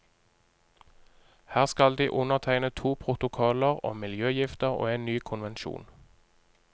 Her skal de undertegne to protokoller om miljøgifter og en ny konvensjon.